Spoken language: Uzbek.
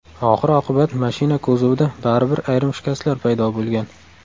Oxir-oqibat mashina kuzovida baribir ayrim shikastlar paydo bo‘lgan.